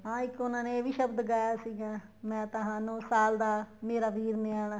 ਹਾਂ ਇੱਕ ਉਹਨਾ ਨੇ ਇਹ ਵੀ ਸ਼ਬਦ ਗਾਇਆ ਸੀਗਾ ਮੈਂ ਤਾਂ ਹਾਂ ਨੋ ਸਾਲ ਦਾ ਮੇਰੇ ਵੀਰ ਨੇ ਆਉਣਾ